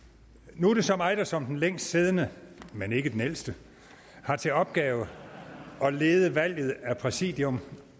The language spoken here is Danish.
nu er det så mig der som den længst siddende men ikke den ældste har til opgave at lede valget af præsidium